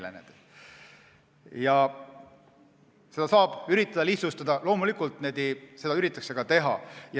Loomulikult saab üritada seda lihtsustada ja seda ka üritatakse teha.